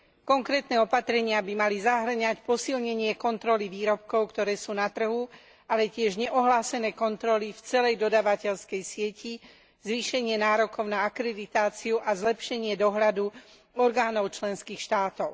Konkrétne opatrenia by mali zahŕňať posilnenie kontroly výrobkov, ktoré sú na trhu, ale tiež neohlásené kontroly v celej dodávateľskej sieti, zvýšenie nárokov na akreditáciu a zlepšenie dohľadu orgánov členských štátov.